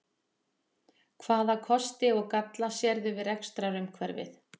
Hvaða kosti og galla sérðu við rekstrarumhverfið?